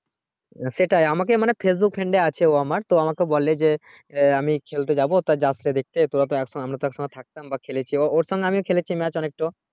সেটাই আমাকে মানে facebook friend এ আছে ও আমার তো আমাকে বলে যে এ আমি খেলতে যাবো তা যাস না দেখতে তোরা তো এখন আমরা তো একসাথে থাকতাম বা খেলেছি ও ওর সঙ্গে আমি খেলেছি match অনেকটো